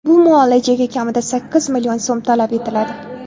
Bu muolajaga kamida sakkiz million so‘m talab etiladi.